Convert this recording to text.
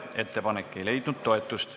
Ettepanek ei leidnud toetust.